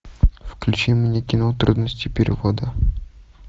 включи мне кино трудности перевода